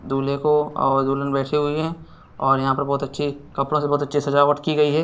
दुल्हे को और दुल्हन बैठी हुई है और यहाँ पे बहुत अच्छी कपड़ों से बहुत अच्छी सजावत की गई है।